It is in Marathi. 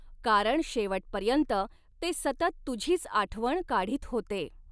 कारण शेवटपर्यंत ते सतत तुझीच आठवण काढीत होते!